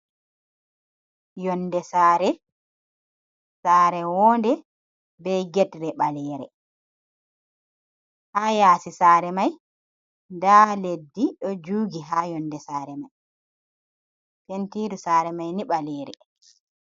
Yonde sare, sare wonde begedre ɓalere ha yasi sare mai, nda leddi ɗo jugi ha yonde sare mai, pentiru sare mai ni ɓalere.